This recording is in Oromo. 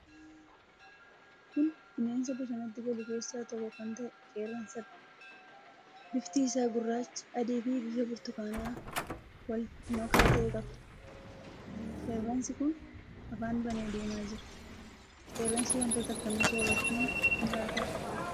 Kun bineensa bosonatti galu keessaa tokko kan ta'e qeerransadha. Bifti isaa gurraacha, adiifi bifa burtukaanaa wal makaa ta'e qaba. Qeerransi kun afaan banee deemaa jira. Qeerransi wantoota akkamii soorachuun jiraata?